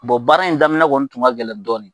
Bɔn baara in daminɛ kɔni tun ka gɛlɛn dɔɔni